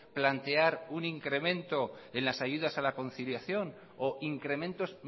plantear un incremento en las ayudas a la conciliación o incrementos